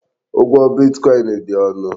Ụgwọ bitkọin dị ọnụ.